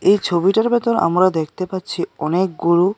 এই ছবিটার ভেতর আমরা দেখতে পাচ্ছি অনেকগুলো--